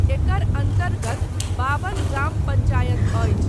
एकर अन्तर्गत बाबन ग्राम पंचायत अछि।